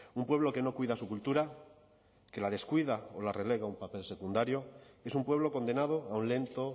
un pueblo que no cuida su cultura que la descuida o que la relega a un papel secundario es un pueblo condenado a un lento